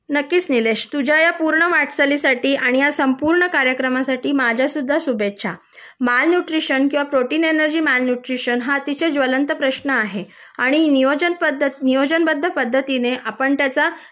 नक्कीच निलेश तुझ्या या वाटचालीसाठी आणि या संपूर्ण कार्यक्रमासाठी माझ्या सुद्धा शुभेच्छा माल न्यूट्रिशन किंवा प्रोटीन एनर्जी माल न्यूट्रिशन हा अतिशय ज्वलंत प्रश्न आहे आणि नियोजन नियोजनबद्ध पद्धतीने आपण त्याचा